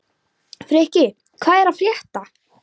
Frikki, hvað er að frétta?